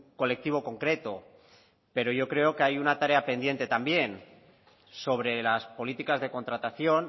colectivo concreto pero yo creo que hay una tarea pendiente también sobre las políticas de contratación